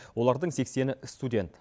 олардың сексені студент